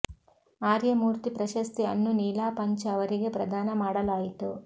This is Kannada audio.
ಆರ್ಯ ಮೂರ್ತಿ ಪ್ರಶಸ್ತಿ ಅನ್ನು ನೀಲಾ ಪಂಚ್ ಅವರಿಗೆ ಪ್ರದಾನ ಮಾಡಲಾಯಿತು